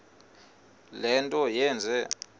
le nto yenze